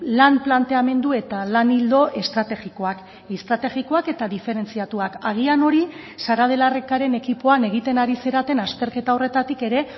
lan planteamendu eta lan ildo estrategikoak estrategikoak eta diferentziatuak agian hori sara de la ricaren ekipoan egiten ari zareten azterketa horretatik ere